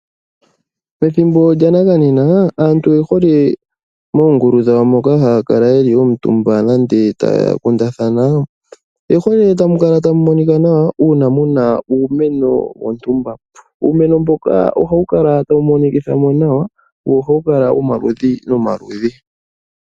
Ethimbo lyanakanena, aantu oye hole moongulu dhawo moka haya kala yeli omutumba nande taya kundathana. Oye hole tamu kala tamu monika nawa uuna muna uumeno wontumba, uumeno mboka ohawu kala tawu monikitha mo nawa, wo ohawu kala womaludhi nomaludhi.